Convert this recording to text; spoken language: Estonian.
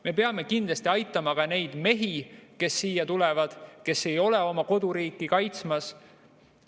Me peame kindlasti aitama ka neid mehi, kes siia tulevad ja kes ei ole oma koduriiki kaitsmas.